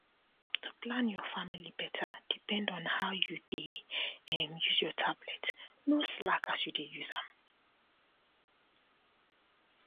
to plan your family better depend on how you dey um use your tablet no slack as you dey use am